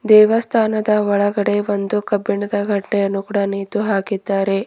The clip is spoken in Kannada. ದೇವಸ್ಥಾನದ ಒಳಗಡೆ ಒಂದು ಕಬ್ಬಿಣದ ಗಂಟೆಯನ್ನು ಕೂಡ ನೇತು ಹಾಕಿದ್ದಾರೆ.